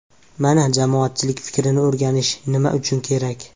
Mana jamoatchilik fikrini o‘rganish nima uchun kerak.